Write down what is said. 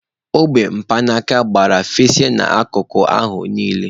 Ogbe ukpaka gbara, fesasịa n'akụkụ ahụ niile.